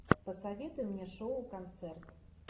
посоветуй мне шоу концерт